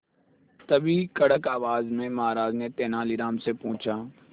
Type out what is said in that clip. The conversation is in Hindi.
तभी कड़क आवाज में महाराज ने तेनालीराम से पूछा